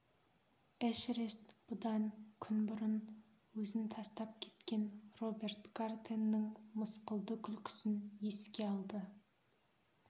эшерест бұдан күн бұрын өзін тастап кеткен роберт гартенның мысқылды күлкісін еске алды